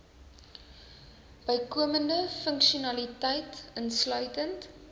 bykomende funksionaliteit insluitend